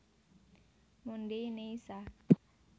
Mondai Nai Sa